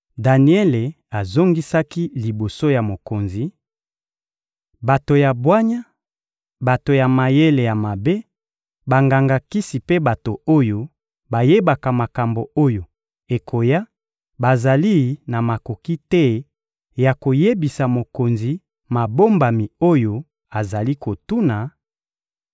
Daniele azongisaki liboso ya mokonzi: — Bato ya bwanya, bato ya mayele ya mabe, banganga-kisi mpe bato oyo bayebaka makambo oyo ekoya bazali na makoki te ya koyebisa mokonzi mabombami oyo azali kotuna;